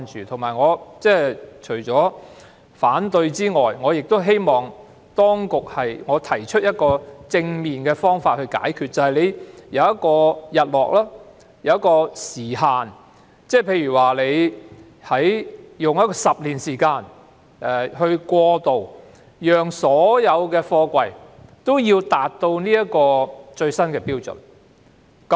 除了提出反對外，我亦希望提出正面的方法解決問題，便是訂定日落條款，設定時限，例如給予10年時間以作過渡，讓所有貨櫃皆能符合最新標準。